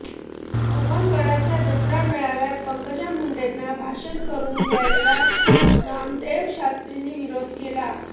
भगवानगडाच्या दसरा मेळाव्यात पंकजा मुंडेंना भाषण करू द्यायला नामदेव शास्त्रींनी विरोध केलाय